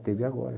teve agora.